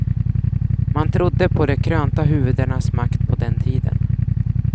Man trodde på de krönta huvudenas makt på den tiden.